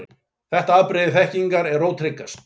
Þetta afbrigði þekkingar er ótryggast.